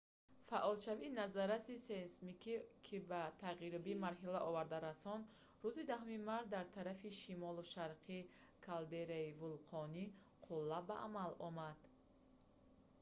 фаъолшавии назарраси сейсмикӣ ки ба тағйирёбии марҳила оварда расонд рӯзи 10 март дар тарафи шимолу шарқии калдераи вулқони қулла ба амал омад